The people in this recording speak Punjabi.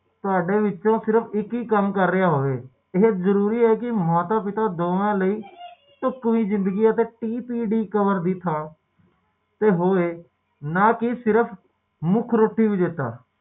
ਇੱਕ ਪਰਿਵਾਰ ਪਾਲਦੇ ਹਾ ਅਤੇ ਸਹਿਜ ਇੱਕ ਕਾਰੋਬਾਰ ਸ਼ੁਰੂ ਕਰਦੇ ਹਾ